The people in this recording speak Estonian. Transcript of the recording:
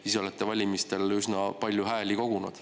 Te ise olete valimistel üsna palju hääli kogunud.